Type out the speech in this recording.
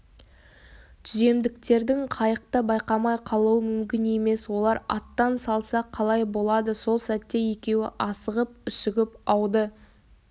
түземдіктердің қайықты байқамай қалуы мүмкін емес олар аттан салса қалай болады сол сәтте екеуі асығып-үсігіп ауды